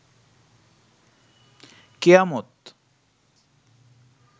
কেয়ামত